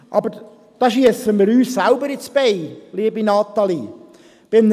Aber damit schiessen wir uns selbst ins Bein, liebe Natalie Imboden.